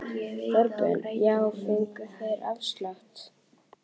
Þorbjörn: Já en fengu þeir afslátt?